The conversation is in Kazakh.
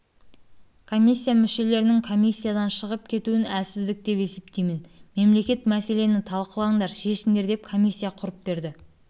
комиссия мүшелерінің комиссиядан шығып кетуін әлсіздік деп есептеймін мемлекет мәселені талқылаңдар шешіңдер деп комиссия құрып берді